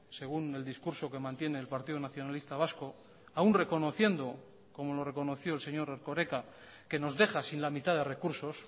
según el discurso que mantiene el partido nacionalista vasco aún reconociendo como lo reconoció el señor erkoreka que nos deja sin la mitad de recursos